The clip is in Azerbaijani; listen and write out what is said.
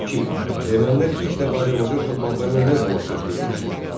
İki Ermənilər ilk dəfə Azərbaycan torpaqlarına nə zaman köçürülmüşdü?